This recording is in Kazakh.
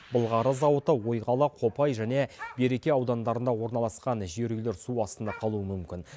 былғары зауыты ойқала копай және береке аудандарында орналасқан жер үйлер су астында қалуы мүмкін